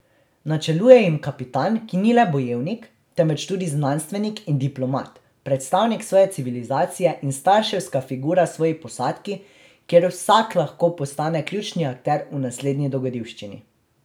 Načeluje jim kapitan, ki ni le bojevnik, temveč tudi znanstvenik in diplomat, predstavnik svoje civilizacije in starševska figura svoji posadki, kjer vsak lahko postane ključni akter v naslednji dogodivščini.